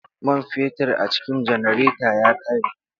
Man fetur a cikin janareta ya rage.